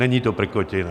Není to prkotina.